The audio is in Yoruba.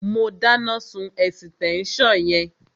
Má dáná sun ẹ̀sítẹ́nsàn yẹn